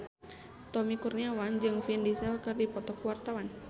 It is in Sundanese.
Tommy Kurniawan jeung Vin Diesel keur dipoto ku wartawan